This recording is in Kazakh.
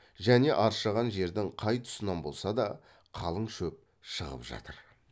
және аршыған жердің қай тұсынан болса да қалың шөп шығып жатыр